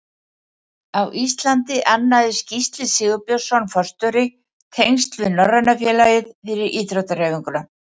Á Íslandi annaðist Gísli Sigurbjörnsson forstjóri tengsl við Norræna félagið fyrir íþróttahreyfinguna.